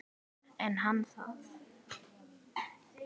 En er hann það?